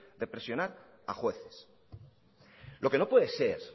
de presionar a jueces lo que no puede ser